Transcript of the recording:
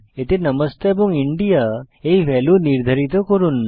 এতে নমস্তে এবং ইন্দিয়া এই ভ্যালু নির্ধারিত করুন